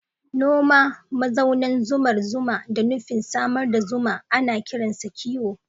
Noma mazaunan zumar zuma da nufin samar da zuma ana kiransa kiwo.